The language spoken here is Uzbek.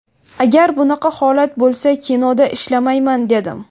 Agar bunaqa holat bo‘lsa kinoda ishlamayman dedim.